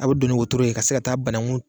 A bɛ don ni wotoro ye ka se ka taa banakun